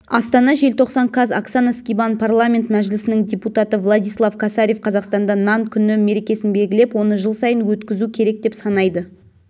астана желтоқсан қаз оксана скибан парламент мәжілісінің депутаты владислав косарев қазақстанда нан күні мерекесін белгілеп оны жыл сайын өткізу керек деп санайды